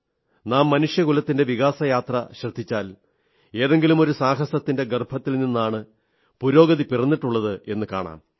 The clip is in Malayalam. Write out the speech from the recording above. നാം മനുഷ്യകുലത്തിന്റെ വികാസയാത്ര ശ്രദ്ധിച്ചാൽ ഏതെങ്കിലുമൊരു സാഹസത്തിന്റെ ഗർഭത്തിൽ നിന്നാണ് പുരോഗതി പിറന്നിട്ടുള്ളതെന്നു കാണാം